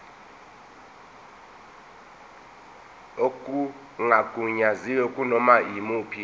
okungagunyaziwe kunoma yimuphi